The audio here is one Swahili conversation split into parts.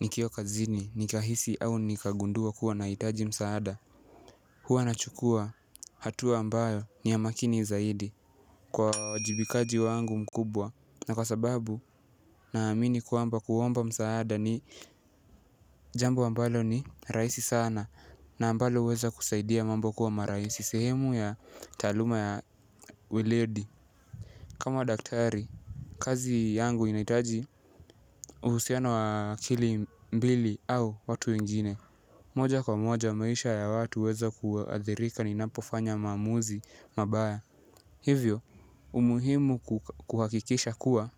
Nikiwa kazini nikahisi au nikagundua kuwa naihtaji msaada. Huwa nachukua hatua ambayo ni ya makini zaidi. Kwa uwajibikaji wangu mkubwa na kwa sababu naamini kwamba kuomba msaada ni jambo ambalo ni rahisi sana. Na ambalo huweza kusaidia mambo kuwa maraisi sehemu ya taaluma ya weledi. Kama daktari kazi yangu inahitaji uhusiano wa akili mbili au watu wengine. Moja kwa moja maisha ya watu huweza kuathirika ninapo fanya maamuzi mabaya. Hivyo, umuhimu kuhakikisha kuwa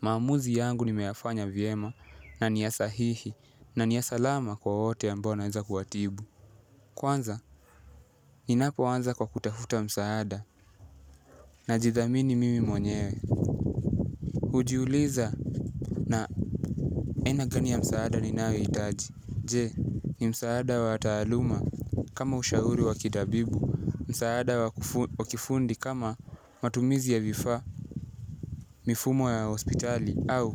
maamuzi yangu nimeyafanya vyema na ni ya sahihi na ni ya salama kwa wote ambao naweza kuwatibu. Kwanza, ninapo anza kwa kutafuta msaada na jithamini mimi mwenyewe. Hujiuliza na aina gani ya msaada ninayo hitaji. Je, ni msaada wa taaluma kama ushauri wa kitabibu, msaada wa kifundi kama matumizi ya vifaa mifumo ya hospitali, au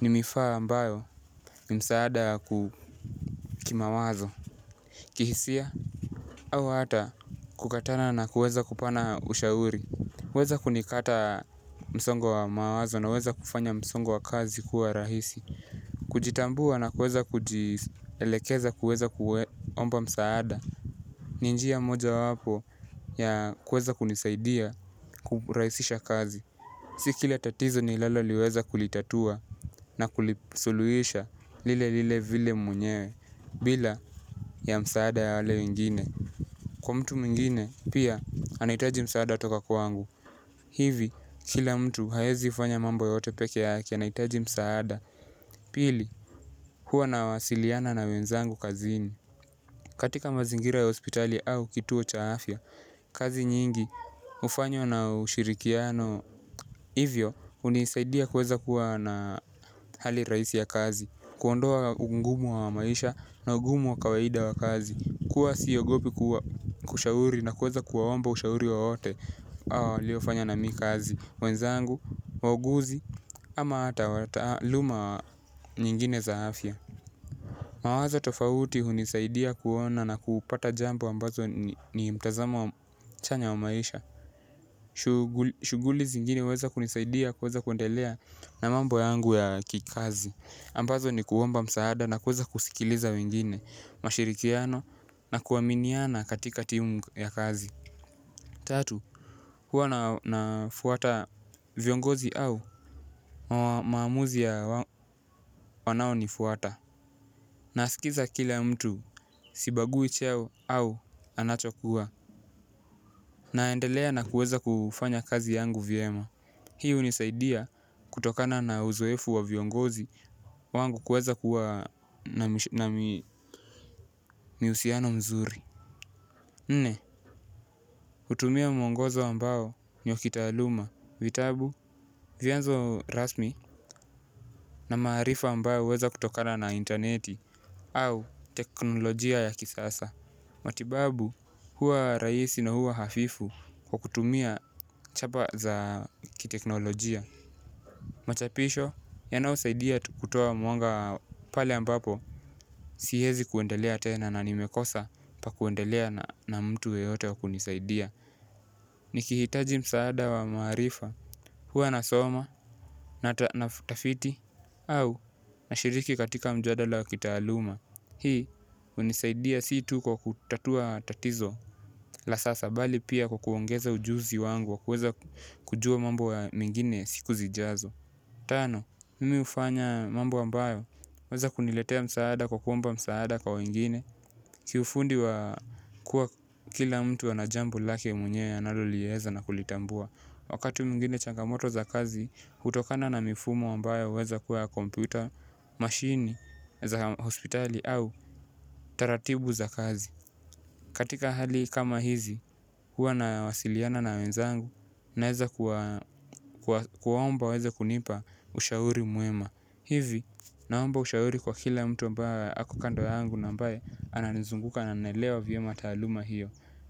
ni mifaa ambayo ni msaada ku kimawazo, kihisia, au hata kukatana na kuweza kupana ushauri. Weza kunikata msongo wa mawazo na weza kufanya msongo wa kazi kuwa rahisi. Kujitambua na kuweza kujielekeza kuweza kuomba msaada. Ni njia moja wapo ya kuweza kunisaidia kurahisisha kazi. Si kila tatizo nilalo liweza kulitatua na kulisuluisha lile lile vile mwenyewe bila ya msaada ya wale wengine. Kwa mtu mwingine pia anahitaji msaada toka kwa angu. Hivi, kila mtu haezi ufanya mambo yote peke ya ake anahitaji msaada. Pili, hua na wasiliana na wenzangu kazini. Katika mazingira ya hospitali au kituo cha afya kazi nyingi, hufanywa na ushirikiano. Hivyo, hunisaidia kuweza kuwa na hali rahisi ya kazi. Kuondoa ugumu wa maisha na ugumu wa kawaida wa kazi kuwa siogopi kuwa kushauri na kuweza kuwaomba ushauri wawote awo waliofanya na mi kazi wenzangu, wauguzi, ama ata taaluma nyingine za afya. Mawazo tofauti hunisaidia kuona na kupata jambo ambazo ni mtazamo chanya wa maisha. Shughuli zingine waweza kunisaidia kuweza kuendelea na mambo yangu ya kikazi. Ambazo ni kuomba msaada na kuweza kusikiliza wengine, mashirikiano na kuaminiana katika timu ya kazi. Tatu, huwa na fuata viongozi au maamuzi ya wanao ni fuata. Nasikiza kila mtu, sibagui cheo au anachokuwa. Naendelea na kuweza kufanya kazi yangu vyema. Hii hunisaidia kutokana na uzoefu wa viongozi wangu kuweza kua na mihusiano mzuri. Nne, hutumia mwongozo ambao ni wa kitaluma, vyanzo rasmi na maarifa ambayo huweza kutokana na interneti au teknolojia ya kisasa. Matibabu huwa rahisi na huwa hafifu kwa kutumia chapa za kiteknolojia. Machapisho, yanayo saidia tu kutoa mwanga pale ambapo siwezi kuendelea tena na nimekosa pa kuendelea na mtu yeyote wa kunisaidia. Ni kihitaji msaada wa maarifa huwa nasoma na tafiti au na shiriki katika mjadala wakitaaluma. Hii hunisaidia situ kwa kutatua tatizo la sasa bali pia kwa kuongeza ujuzi wangu wa kuweza kujua mambo mengine siku zijazo. Tano, mimi hufanya mambo ambayo yanaweza kuniletea msaada kwa kuomba msaada kwa wengine. Kiufundi wa kuwa kila mtu anajambo lake mwenyewe analoliweza na kulitambua. Wakati mwingine changamoto za kazi, hutokana na mifumo ambayo huweza kuwa ya kompyuta machine za hospitali au taratibu za kati katikabhali kama hizi huwa nawasiliana na wenzangu naweza kuwa kuwa omba waweza kunipa ushauri mwema. Hivi naomba ushauri kwa kila mtu ambae ako kando yangu na ambaye ananizunguka na naelewa vyema taaluma hiyo.